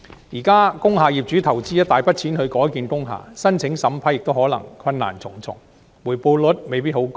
現時工廈業主須投資一大筆錢才能改建工廈，申請審批亦可能困難重重，回報率未必很高。